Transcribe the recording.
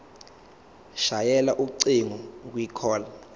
shayela ucingo kwicall